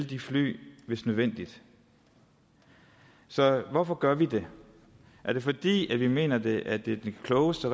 de fly hvis nødvendigt så hvorfor gør vi det er det fordi vi mener at det er det klogeste